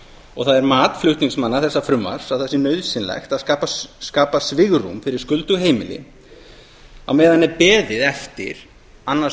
og það er mat flutningsmanna þessa frumvarps að það sé nauðsynlegt að skapa svigrúm fyrir skuldug heimili á meðan er beðið eftir annars